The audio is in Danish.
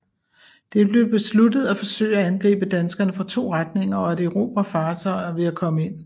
Det blev besluttet at forsøge at angribe danskerne fra to retninger og at erobre fartøjer ved at komme ind